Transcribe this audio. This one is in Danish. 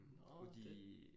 Nåh det